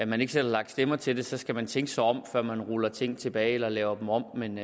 man ikke selv har lagt stemmer til den så skal man tænke sig om før man ruller ting tilbage eller laver dem om men